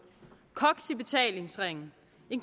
koks i betalingsringen